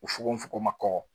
U fogofogo ma kɔkɔ